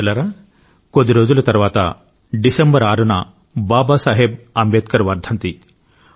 మిత్రులారా కొద్ది రోజుల తరువాత డిసెంబర్ 6న బాబా సాహెబ్ అంబేద్కర్ వర్ధంతి